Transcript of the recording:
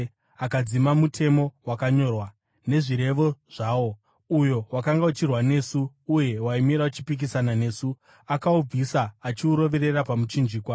akadzima mutemo wakanyorwa, nezvirevo zvawo, uyo wakanga uchirwa nesu uye waimira uchipikisana nesu; akaubvisa, achiuroverera pamuchinjikwa.